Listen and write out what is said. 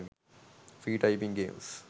free typing games